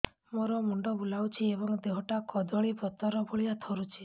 ମୋର ମୁଣ୍ଡ ବୁଲାଉଛି ଏବଂ ଦେହଟା କଦଳୀପତ୍ର ଭଳିଆ ଥରୁଛି